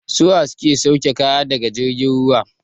Su wa ke sauke kaya daga jirgin ruwa?